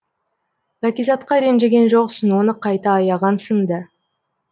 бәкизатқа ренжіген жоқсың оны қайта аяғансың ды